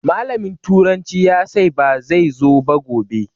Malamin turanci ya sai ba zai zo ba gobe